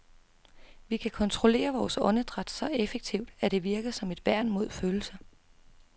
Vi kan kontrollere vores åndedræt så effektivt, at det virker som et værn mod følelser.